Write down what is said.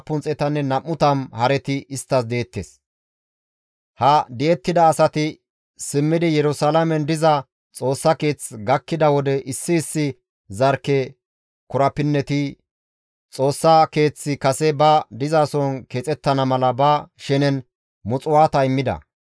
Istti baas dandayettiza mala Xoossa Keeththa oosos kesetti immida imotay issi bolla 500 kilo worqqa, 2,786 kilo bira, qeesetas bessiza may7o 100 immida.